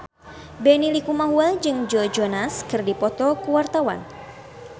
Benny Likumahua jeung Joe Jonas keur dipoto ku wartawan